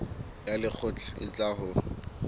ya lekgotla e tla ho